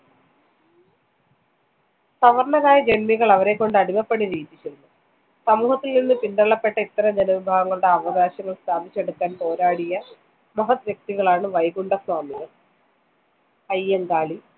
സവര്‍ണരായ ജന്മികള്‍ അവരെക്കൊണ്ട് അടിമപ്പണി ചെയ്യിപ്പിച്ചിരുന്നു. സമൂഹത്തില്‍ നിന്ന് പിന്തള്ളപ്പെട്ട ഇത്തരം ജനവിഭാഗങ്ങളുടെ അവകാശങ്ങള്‍ സ്ഥാപിച്ചെടുക്കാന്‍ പോരാടിയ മഹത് വ്യക്തികളാണ് വൈകുണ്ഠസ്വാമികള്‍, അയ്യങ്കാളി